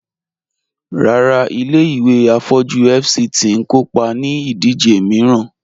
Ràrà, ilẹ̀-ìwé afọ̀jú FCT n kòpá ní ìdíjè miìràn